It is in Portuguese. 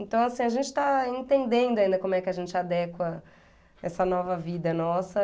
Então, assim, a gente está entendendo ainda como é que a gente adequa essa nova vida nossa.